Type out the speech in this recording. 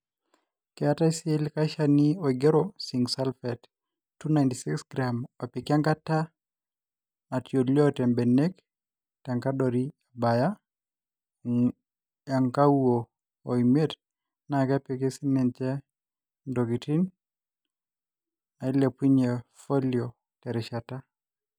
Keetai sii likae Shani oigero ,zinc sulphate 296g opiki enkata natalioote mbenek tenkadori ebaya ong'uo o miet naa kepiki siininche ntokin naailepunye falio Teina rishata.